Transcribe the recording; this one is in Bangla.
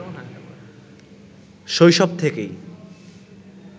শৈশব থেকেই